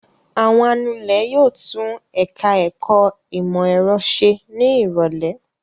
Àwọn anulẹ̀ yóò tún ẹ̀ka-ẹ̀kọ́ ìmọ̀-ẹ̀rọ ṣe ní ìrọ́lẹ́.